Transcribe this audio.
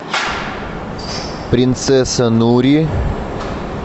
принцесса нури